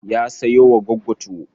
Ya sayo wa Gwaggo tuwo.